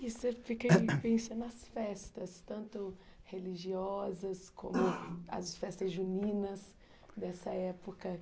E você fica, nas festas, tanto religiosas como as festas juninas dessa época.